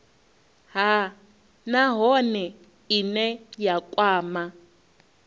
nha nahone ine ya kwama